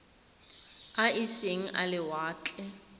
a e seng a lewatle